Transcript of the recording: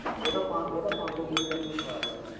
ਉਹ ਤਾਂ ਪੰਜ ਸ਼ੋ GB ਤੱਕ ਵੀ ਸਾਰ ਲਿੱਦੇ ਏ